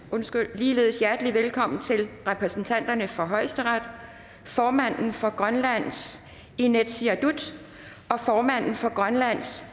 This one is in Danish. ligeledes hjertelig velkommen til repræsentanterne for højesteret formanden for grønlands inatsisartut formanden for grønlands